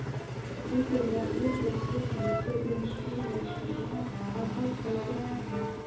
Endanleg útlitsteikning Guðjóns Samúelssonar af háskólabyggingunni.